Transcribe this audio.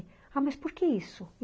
Ah, mas por que isso?